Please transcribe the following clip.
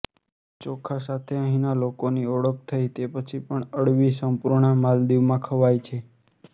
ચોખા સાથે અહીંના લોકોની ઓળખ થઈ તે પછી પણ અળવી સંપૂર્ણા માલદીવમાં ખવાય છે